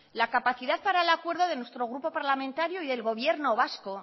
la capacidad para el acuerdo de nuestro grupo parlamentario y del gobierno vasco